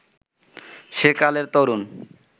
সেকালের তরুণ